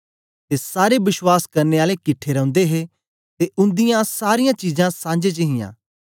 ते सारे बश्वास करने आले किट्ठे रौंदे हे ते उंदी सारीयां चीजां सांझे च हियां